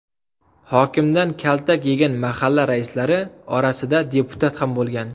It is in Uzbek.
Hokimdan kaltak yegan mahalla raislari orasida deputat ham bo‘lgan.